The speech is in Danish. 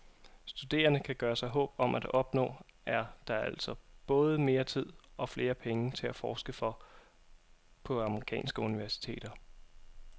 Studerende kan gøre sig håb om at opnå, er der altså både mere tid og flere penge til at forske for på amerikanske universiteter.